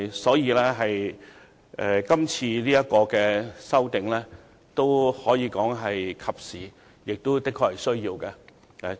所以，今次的法例修訂工作可以說是及時和有需要的。